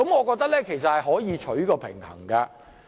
我認為可以求取平衡。